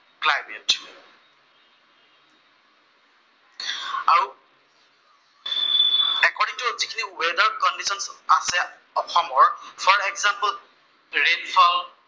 যিখিনি weather conditions আছে অসমৰ, ফৰ এগজাম্পল্ ৰেইন ফল